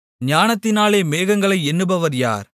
ஞானத்தினாலே மேகங்களை எண்ணுபவர் யார்